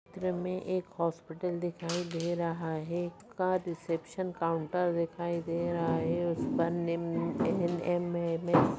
चित्र में एक हॉस्पिटल दिखाई दे रहा है का रिसेप्शन काउंटर दिखाई दे रहा है उस पर निम्न एन_एम_एम_एस --